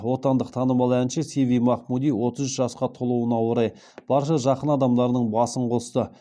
отандық танымал әнші сиви махмуди отыз үш жасқа толуына орай барша жақын адамдарының басын қосты